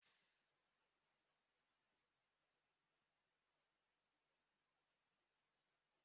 N'oge gara aga, ezinụlọ na-ebukarị ibu ma gbasaa karịa.